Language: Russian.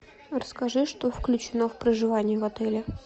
расскажи что включено в проживание в отеле